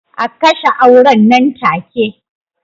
A kashe auren nan take